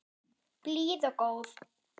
Blíð og góð.